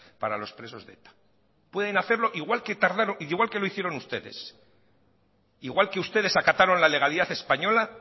para los presos de eta pueden hacerlo igual que lo hicieron ustedes igual que ustedes acataron la legalidad española